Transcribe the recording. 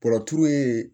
Bɔrɔturu ye